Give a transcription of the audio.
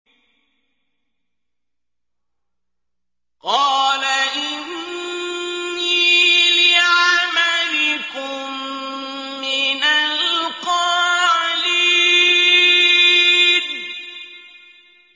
قَالَ إِنِّي لِعَمَلِكُم مِّنَ الْقَالِينَ